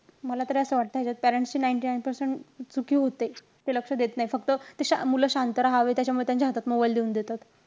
मला तरी असं वाटत ह्याच्यात parents ची ninety nine percent चुकी होते ते लक्ष देत नाहीत. फक्त ते मुलं शांत राहावी, त्याच्यामुळे त्यांच्या हातात mobile देऊन देतात.